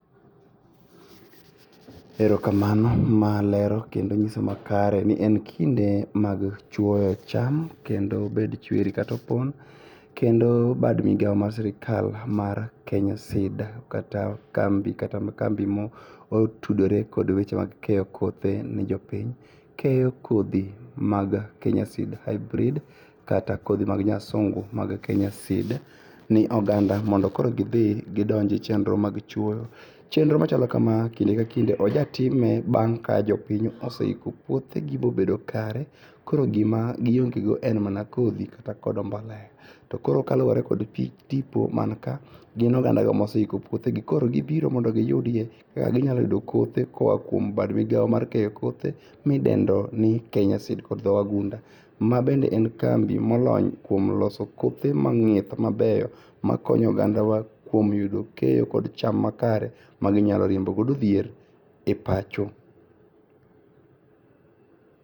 Erokamano ma lero kendo nyiso makare ni en kinde mag chuoyo cham kendo bed chuer katopon, kendo bad migao mar sirkal mar KSAID kata kambi motudore kod weche mag keyo kothe ne jopiny keyo kodhi mag Kenya Seed Hybrid kata kodhi mag nyasungu mag Kenya Seed ne oganda mondo koro gidhi gidonje chenro mag chuo. Chenro machalo kamaa kinde ka kinde ojatime bang' ka jopiny oseiko puothegi bobedo kare koro gima giongego en mana kodhi. To koro kalure kod tipo manika gin ogandago moseiko puothegi, koro gibiro mondo giyudie kaka ginyalo yudo kothe koa kuom bad migao mar keyo kothe midendoni Kenya Seed. Ma bende en kambi molony kuom loso kothe mabeyo makonyo ogandawa kuom keyo cham makare maginyalo riembo godo dhier e pacho.